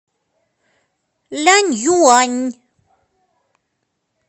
ляньюань